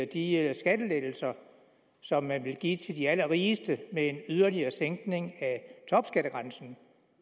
de skattelettelser som man vil give til de allerrigeste ved en yderligere sænkning af topskattegrænsen